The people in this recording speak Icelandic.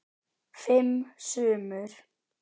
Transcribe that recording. Fimm sumur